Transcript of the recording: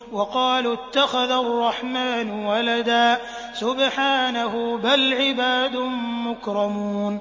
وَقَالُوا اتَّخَذَ الرَّحْمَٰنُ وَلَدًا ۗ سُبْحَانَهُ ۚ بَلْ عِبَادٌ مُّكْرَمُونَ